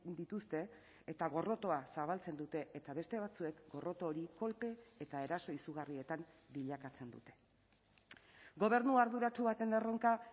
dituzte eta gorrotoa zabaltzen dute eta beste batzuek gorroto hori kolpe eta eraso izugarrietan bilakatzen dute gobernu arduratsu baten erronka